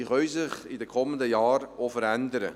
Diese können sich in den kommenden Jahren auch verändern.